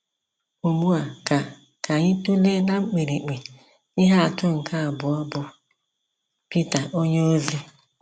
Ugbu a ka ka anyị tụlee ná mkpirikpi ihe atụ nke abụọ, bụ Pita onyeozi.